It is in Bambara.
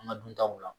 An ka duntaw la